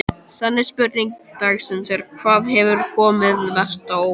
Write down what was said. Seinni spurning dagsins er: Hvað hefur komið mest á óvart?